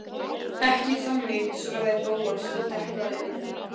Ekki þannig- svaraði Bóas og deplaði augunum.